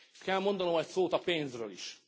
Kell mondanom egy szót a pénzről is.